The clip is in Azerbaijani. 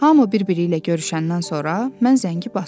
Hamı bir-biri ilə görüşəndən sonra mən zəngi basdım.